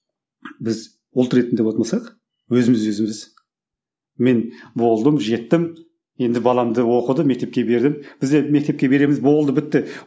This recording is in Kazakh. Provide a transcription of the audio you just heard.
біз ұлт ретінде болатын болсақ өзіміз өзіміз мен болдым жеттім енді баламды оқыды мектепке бердім бізде мектепке береміз болды бітті